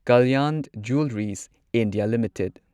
Kalyan Jewellers India limited